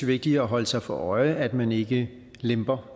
vigtigt at holde sig for øje at man ikke lemper